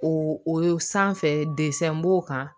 O o sanfɛ b'o kan